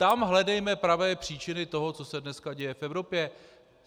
Tam hledejme pravé příčiny toho, co se dneska děje v Evropě.